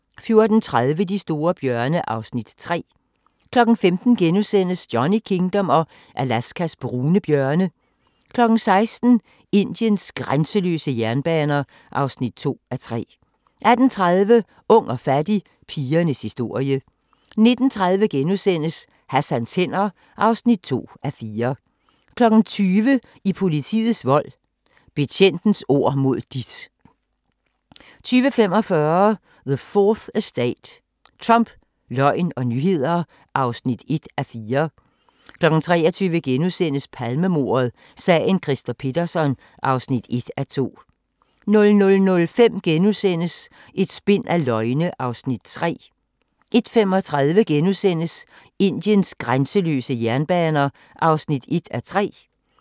14:30: De store bjørne (Afs. 3) 15:00: Johnny Kingdom og Alaskas brune bjørne * 16:00: Indiens grænseløse jernbaner (2:3) 18:30: Ung og fattig – pigernes historie 19:30: Hassans hænder (2:4)* 20:00: I politiets vold: Betjentens ord mod dit 20:45: The 4th Estate – Trump, løgn og nyheder (1:4) 23:00: Palmemordet: Sagen Christer Pettersson (1:2)* 00:05: Et spind af løgne (3:4)* 01:35: Indiens grænseløse jernbaner (1:3)*